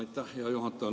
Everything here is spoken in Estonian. Aitäh, hea juhataja!